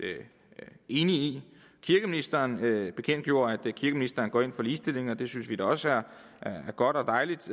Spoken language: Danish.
enige i kirkeministeren bekendtgjorde at kirkeministeren går ind for ligestilling og det synes vi da også er godt og dejligt